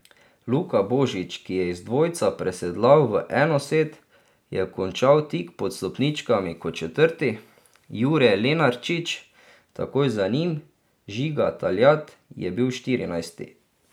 Luka Božič, ki je iz dvojca presedlal v enosed, je končal tik pod stopničkami kot četrti, Jure Lenarčič takoj za njim, Žiga Taljat je bil štirinajsti.